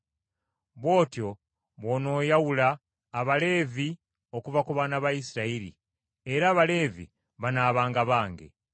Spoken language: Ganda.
“Bw’otyo bw’onooyawula Abaleevi okuva mu baana ba Isirayiri, era Abaleevi banaabanga bange.